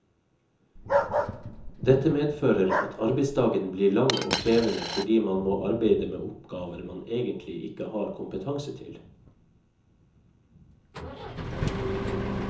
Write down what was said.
Dette medfører at arbeidsdagen blir lang og krevende fordi man må arbeide med oppgaver man egentlig ikke har kompetanse til.